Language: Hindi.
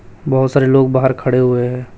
बहोत सारे लोग बाहर खड़े हुए हैं।